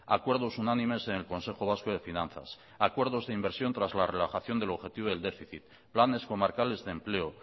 acuerdos unánimes en el consejo vasco de finanzas acuerdos de inversión tras la relajación del objetivo del déficit planes comarcales de empleo